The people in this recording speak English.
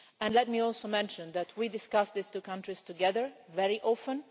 And let me also mention that we discuss these two countries together very often.